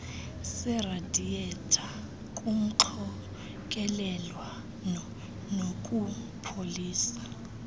seradiyetha kumxokelelwano wokupholisa